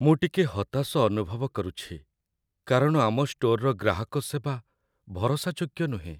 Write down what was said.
ମୁଁ ଟିକେ ହତାଶ ଅନୁଭବ କରୁଛି କାରଣ ଆମ ଷ୍ଟୋର୍‌ର ଗ୍ରାହକ ସେବା ଭରସାଯୋଗ୍ୟ ନୁହେଁ।